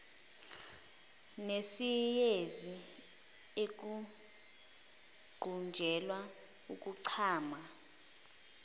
nesiyezi ukuqunjelwa ukuchama